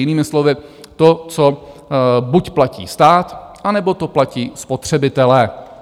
Jinými slovy to, co buď platí stát, anebo to platí spotřebitelé.